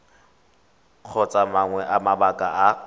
kgotsa mangwe a mabaka a